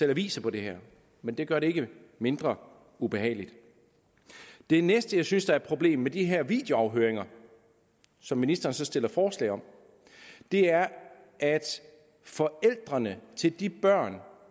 aviser på det her men det gør det ikke mindre ubehageligt det næste jeg synes er et problem med de her videoafhøringer som ministeren så stiller forslag om er at forældrene til de børn